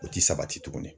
O ti sabati tuguni